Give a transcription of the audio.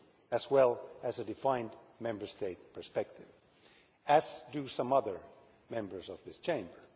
as well as a defined Member State perspective, as do some other Members of this Chamber.